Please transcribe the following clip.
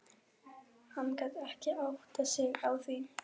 Hann gat ekki áttað sig á því.